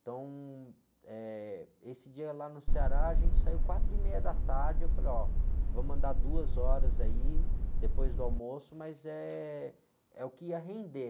Então, eh, esse dia lá no Ceará, a gente saiu quatro e meia da tarde, eu falei, ó, vamos andar duas horas aí, depois do almoço, mas eh, é o que ia render.